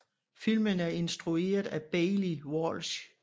Filmen er instrueret af Baillie Walsh